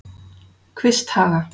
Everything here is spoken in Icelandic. Kvisthaga